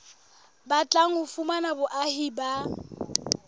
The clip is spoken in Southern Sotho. batlang ho fumana boahi ba